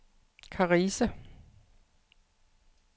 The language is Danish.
Karise